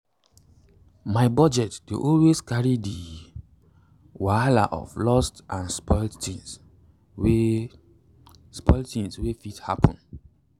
my budget dey always carry the wahala of loss and spoilt tins wey spoilt tins wey fit happen.